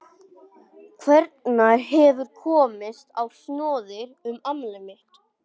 Einhver hefur komist á snoðir um afmælið mitt.